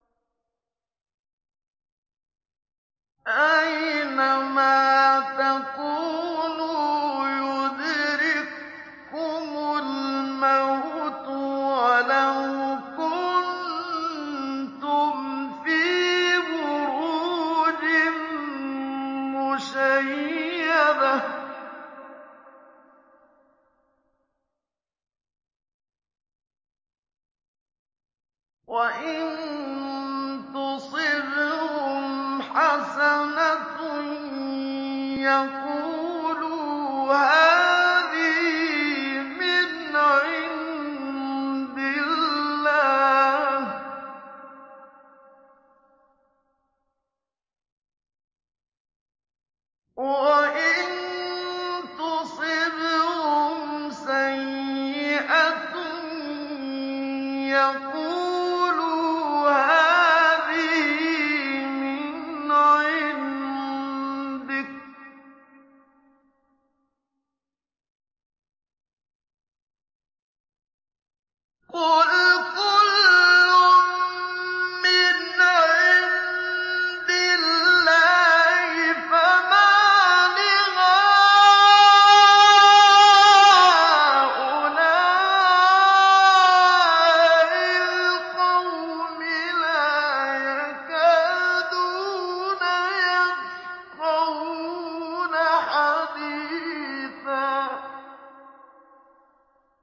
أَيْنَمَا تَكُونُوا يُدْرِككُّمُ الْمَوْتُ وَلَوْ كُنتُمْ فِي بُرُوجٍ مُّشَيَّدَةٍ ۗ وَإِن تُصِبْهُمْ حَسَنَةٌ يَقُولُوا هَٰذِهِ مِنْ عِندِ اللَّهِ ۖ وَإِن تُصِبْهُمْ سَيِّئَةٌ يَقُولُوا هَٰذِهِ مِنْ عِندِكَ ۚ قُلْ كُلٌّ مِّنْ عِندِ اللَّهِ ۖ فَمَالِ هَٰؤُلَاءِ الْقَوْمِ لَا يَكَادُونَ يَفْقَهُونَ حَدِيثًا